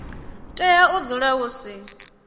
tea u dzula hu si